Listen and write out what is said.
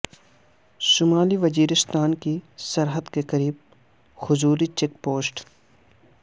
شمالی وزیرستان کی سرحد کی قریب کھجوری چیک پوسٹ